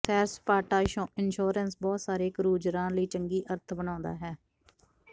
ਸੈਰ ਸਪਾਟਾ ਇੰਸ਼ੋਰੈਂਸ ਬਹੁਤ ਸਾਰੇ ਕਰੂਜ਼ਰਾਂ ਲਈ ਚੰਗੀ ਅਰਥ ਬਣਾਉਂਦਾ ਹੈ